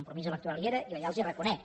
promís electoral hi era jo ja els ho reconec